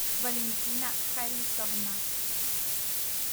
валентина харисовна